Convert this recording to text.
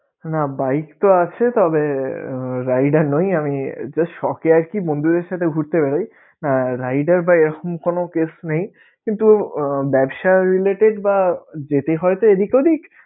না bike তো আছে তবে আহ rider নই আমি just শখে আরকি বন্ধুদের সাথে ঘুরতে বের হই আর rider বা এরকম কোন case নেই কিন্তু ব্যবসায় related বা যেতে হয়তো এদিক ওদিক